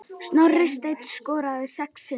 Snorri Steinn skoraði sex sinnum.